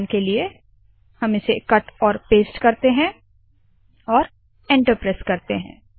I will cut this and paste in the slab to execute